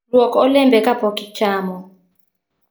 Luok olembe kapok ichamo